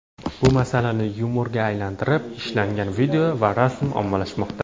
Bu masalani yumorga aylantirib, ishlangan video va rasmlar ommalashmoqda.